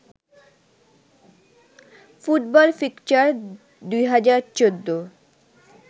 football fixture ২০১৪